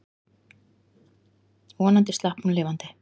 Vonandi slapp hún lifandi.